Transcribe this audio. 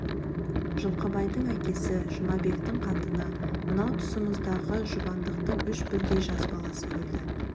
жылқыбайдың әкесі жұмабектің қатыны мынау тұсымыздағы жұбандықтың үш бірдей жас баласы өлді